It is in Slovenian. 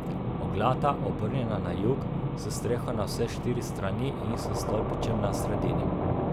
Oglata, obrnjena na jug, s streho na vse štiri strani in s stolpičem na sredini.